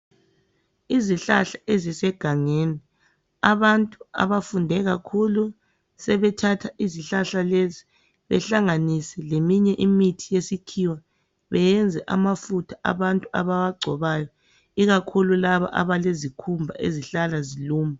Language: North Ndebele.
Izihlahla ezisegangeni, abantu abafunde kakhulu sebethatha izihlahla lezi behlanganise leminye imithi yesikhiwa beyenze amafutha abantu abawagcobayo ikakhulu labo abalezikhumba ezihlala ziluma